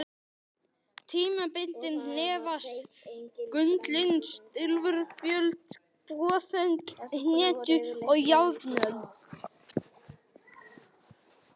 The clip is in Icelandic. Tímabilin nefnast: gullöld, silfuröld, bronsöld, hetjuöld og járnöld.